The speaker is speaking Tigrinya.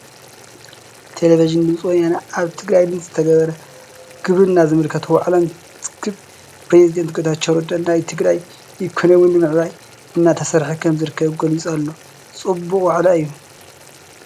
ቴለብዥን ድምፂ ወያነ ኣብ ትግራይ ንዝተገበረ ግብርና ዝምልከት ዋዕላ እንትዝግብ ፕሬዝደንት ጌታቸው ረዳ ናይ ትግራይ ኢኮነሚ ንምዕባይ እንዳተሰርሐ ከምዝርከብ ገሊፁ ኣሎ፡፡ ፅቡቕ ዋዕላ እዩ፡፡